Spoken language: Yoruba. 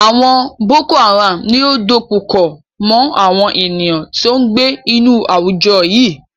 Àwọn Boko-Haram ni ó dukoko mọ́ àwọn ènìyàn tó ń gbé inú àwùjọ yìí.